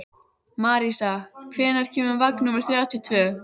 Marísa, hvenær kemur vagn númer þrjátíu og tvö?